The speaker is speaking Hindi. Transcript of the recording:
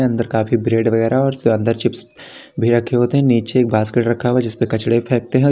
अंदर काफी ब्रेड वगैरा और अंदर चिप्स भी रखे होते हैं नीचे एक बास्केट रखा हुआ है जिस पे कचड़े फेंकते हैं।